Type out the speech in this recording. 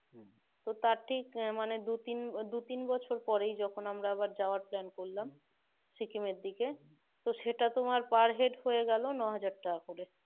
তো তার ঠিক দু তিন দুই তিন বছর পরেই যখন আমরা আবার যাওয়ার plane করলাম সিকিমের দিকে তখন সেটা পার হেড হয়ে গেল নয়হাজার টাকা করে